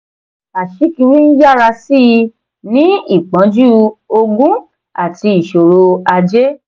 aṣíkiri ń yára sí i ní ìpọ́njú ogun àti ìṣòro ajé.